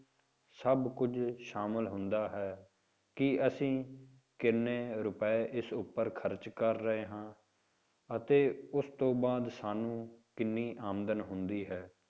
ਸਭ ਕੁੱਝ ਸ਼ਾਮਿਲ ਹੁੰਦਾ ਹੈ, ਕਿ ਅਸੀਂ ਕਿੰਨੇ ਰੁਪਏ ਇਸ ਉੱਪਰ ਖ਼ਰਚ ਕਰ ਰਹੇ ਹਾਂ ਅਤੇ ਉਸ ਤੋਂ ਬਾਅਦ ਸਾਨੂੰ ਕਿੰਨੀ ਆਮਦਨ ਹੁੰਦੀ ਹੈ।